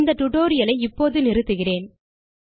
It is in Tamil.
இந்த டியூட்டோரியல் ஐ இப்போது நிறுத்துகிறேன்